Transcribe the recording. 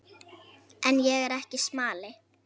En ég er ekki smali.